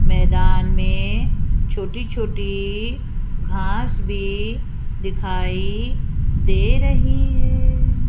मैदान में छोटी छोटी घास भी दिखाई दे रही है।